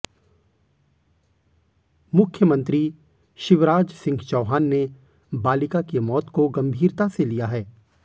मुख्यमंत्री शिवराज सिंह चौहान ने बालिका की मौत को गंभीरता से लिया है